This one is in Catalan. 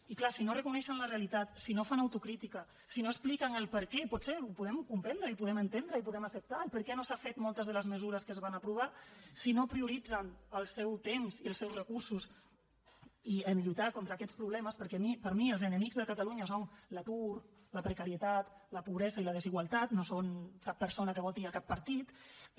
i clar si no reconeixen la realitat si no fan autocrítica si no expliquen el perquè potser ho podem comprendre i ho podem entendre i ho podem acceptar per què no s’han fet moltes de les mesures que es van aprovar si no prioritzen el seu temps i els seus recursos en lluitar contra aquests problemes perquè per mi els enemics de catalunya són l’atur la precarietat la pobresa i la desigualtat no són cap persona que voti cap partit